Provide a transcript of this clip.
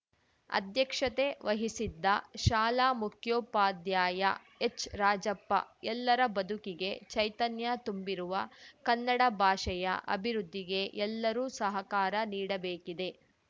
ಅಧ್ಯಕ್ಷತೆ ವಹಿಸಿದ್ದ ಶಾಲಾ ಮುಖ್ಯೋಪಾಧ್ಯಾಯ ಎಚ್‌ರಾಜಪ್ಪ ಎಲ್ಲರ ಬದುಕಿಗೆ ಚೈತನ್ಯ ತುಂಬಿರುವ ಕನ್ನಡ ಭಾಷೆಯ ಅಭಿವೃದ್ಧಿಗೆ ಎಲ್ಲರೂ ಸಹಕಾರ ನೀಡಬೇಕಿದೆ